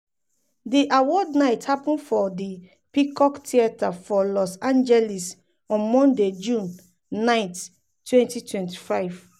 di awards night happun for di peacock theater for los angeles on monday june 9 2025.